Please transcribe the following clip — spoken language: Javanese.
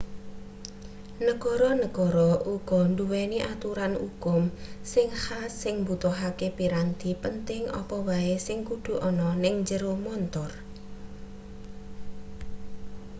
negara-negara uga nduweni aturan ukum sing khas sing mbutuhake piranti penting apa wae sing kudu ana ning njero montor